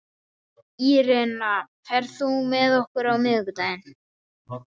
Írena, ferð þú með okkur á miðvikudaginn?